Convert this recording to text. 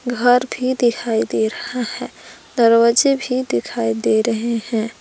घर भी दिखाई दे रहा है दरवाजे भी दिखाई दे रहे हैं।